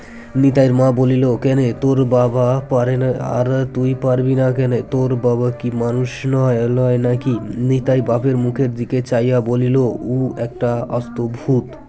নিতাইয়ের মা বলিল কেনে তোর বাবা পারেনা আর তুই পরবিনা কেনে তোর বাবা কী মানুষ নয় লয় নাকি নিতাই বাপের মুখের দিকে চাইয়া বলিল উ একটা আস্ত ভুত